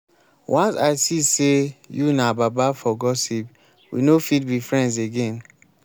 once i see sey you na baba for gossip we no fit be friends again.